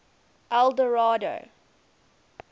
eldorado